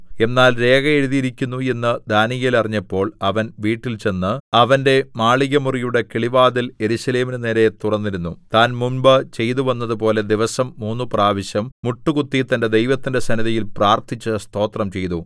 എന്നാൽ രേഖ എഴുതിയിരിക്കുന്നു എന്ന് ദാനീയേൽ അറിഞ്ഞപ്പോൾ അവൻ വീട്ടിൽ ചെന്നു അവന്റെ മാളികമുറിയുടെ കിളിവാതിൽ യെരൂശലേമിനു നേരെ തുറന്നിരുന്നു താൻ മുമ്പ് ചെയ്തുവന്നതുപോലെ ദിവസം മൂന്നുപ്രാവശ്യം മുട്ടുകുത്തി തന്റെ ദൈവത്തിന്റെ സന്നിധിയിൽ പ്രാർത്ഥിച്ച് സ്തോത്രം ചെയ്തു